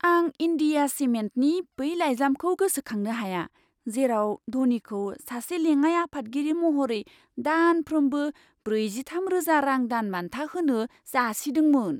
आं इन्डिया सिमेन्टनि बै लाइजामखौ गोसोखांनो हाया, जेराव ध'नीखौ सासे लेङाइ आफादगिरि महरै दानफ्रोमबो ब्रैजिथामरोजा रां दानबान्था होनो जासिदोंमोन!